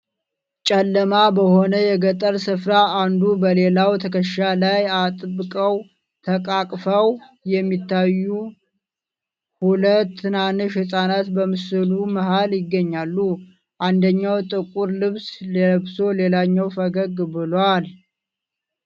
ጨለማ በሆነ የገጠር ስፍራ፣ አንዱ በሌላው ትከሻ ላይ አጥብቀው ተቃቅፈው የሚታዩ ሁለት ትናንሽ ህጻናት በምስሉ መሀል ይገኛሉ። አንደኛው ጥቁር ልብስ ለብሶ ሌላኛው ፈገግ ብሏል።